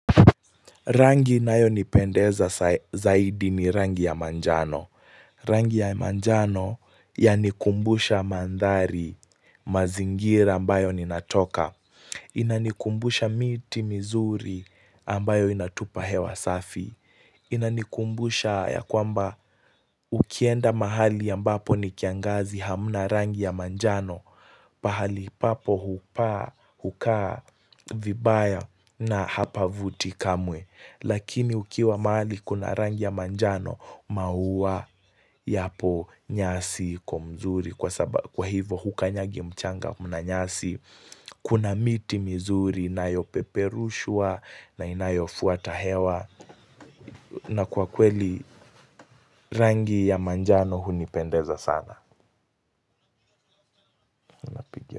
Rangi inayonipendeza zaidi ni rangi ya majano. Rangi ya majano yanikumbusha mandhari mazingira ambayo ninatoka. Inanikumbusha miti mizuri ambayo inatupa hewa safi. Inanikumbusha ya kwamba ukienda mahali ambapo ni kiangazi hamna rangi ya manjano. Pahali papo hukaa vibaya na hapavuti kamwe. Lakini ukiwa mahali kuna rangi ya manjano maua yapo nyasi kwa mzuri kwa hivyo hukanyagi mchanga kuna nyasi Kuna miti mzuri inayopeperushwa na inayofuata hewa na kwa kweli rangi ya manjano hunipendeza sana.